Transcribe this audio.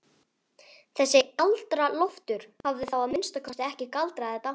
Þessi Galdra-Loftur hafði þá að minnsta kosti ekki galdrað þetta.